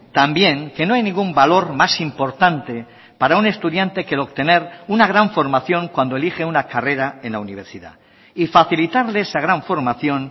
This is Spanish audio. también que no hay ningún valor más importante para un estudiante que el obtener una gran formación cuando elige una carrera en la universidad y facilitarle esa gran formación